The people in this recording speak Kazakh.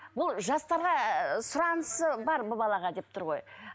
бұл жастарға сұранысы бар бұл балаға деп тұр ғой